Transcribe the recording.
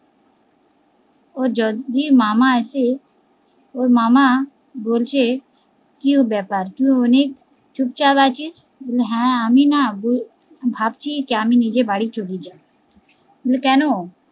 ওর যদি মামা আসে, ওর মামা বলছে কি ব্যাপার, তুই অনেক চুপ চাপ আছিস? হা আমি না ভাবছি যা আমি নিজের বাড়ি চলে যায়। বলে কেন